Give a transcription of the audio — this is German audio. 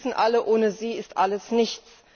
Wir wissen alle Ohne sie ist alles nichts.